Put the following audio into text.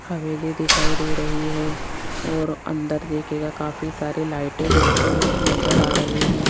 हवेली दिखाई दे रही है और अंदर देखिएगा काफी सारी लाइटें जलती हुई नजर आ रही हैं।